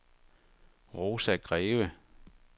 Rosa Greve